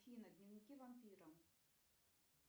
афина дневники вампира